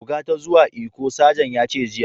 Buga ta zuwa lkko! Sajan ya ce jiya.